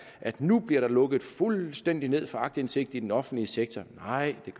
at der nu bliver lukket fuldstændig ned for aktindsigt i den offentlige sektor nej det